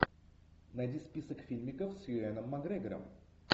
найди список фильмиков с юэном макгрегором